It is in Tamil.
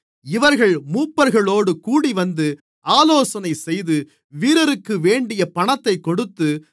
இவர்கள் மூப்பர்களோடு கூடிவந்து ஆலோசனைசெய்து வீரருக்கு வேண்டிய பணத்தைக் கொடுத்து